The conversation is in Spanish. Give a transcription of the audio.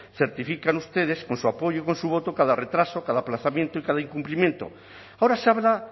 certifican ustedes con su apoyo y con su voto cada retraso cada aplazamiento y cada incumplimiento ahora se habla